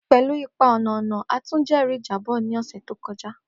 Pelu ipa ọna-ọna, a tun jẹri ijabọ ni ọsẹ to kọja.